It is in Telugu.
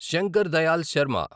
శంకర్ దయాల్ శర్మ